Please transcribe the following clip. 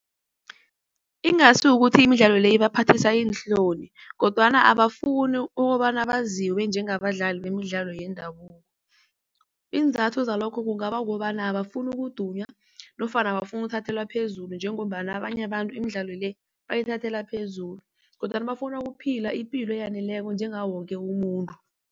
Ingasi ukuthi imidlalo le ibaphathisa iinhloni kodwana abafuni ukobana baziwe njengabadlali bemidlalo yendabuko. Iinzathu zalokho kungaba ukobana abafuni ukuduma nofana abafuna ukuthathelwa phezulu njengombana abanye abantu imidlalo le bayithathela phezulu, kodwana bafuna ukuphila ipilo eyaneleko njengawo woke umuntu.